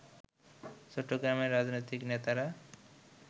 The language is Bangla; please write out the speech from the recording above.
চট্টগ্রামের রাজনৈতিক নেতারা